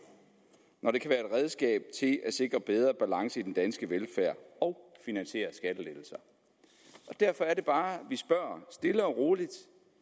når det kan være redskab til at sikre bedre balance i den danske velfærd og finansiere skattelettelser derfor er det bare vi spørger stille og roligt